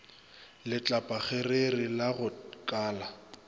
letlapakgerere la go ka la